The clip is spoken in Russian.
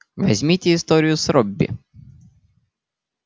возьмите историю с робби